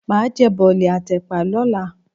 Màá jẹ bọ̀lì àti ẹ̀pà lọ́la.